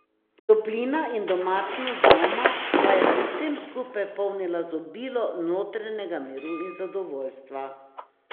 Toplina in domačnost doma pa jo pri vsem skupaj polnita z obilo notranjega miru in zadovoljstva.